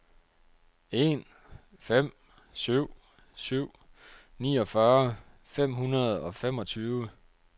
en fem syv syv niogfyrre fem hundrede og femogtyve